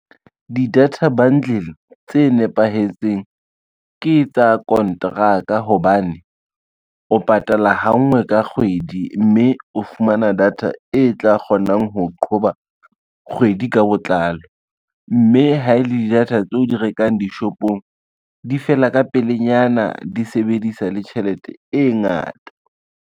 Di-data bundle tse nepahetseng ke tsa konteraka hobane, o patala ha nngwe ka kgwedi, mme o fumana data e tla kgonang ho qhoba kgwedi ka botlalo, mme ha e le di-data tseo di rekang dishopong, di fela ka pelenyana, di sebedisa le tjhelete e ngata.